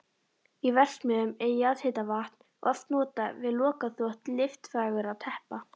Í verksmiðjum er jarðhitavatn oft notað við lokaþvott litfagurra teppa.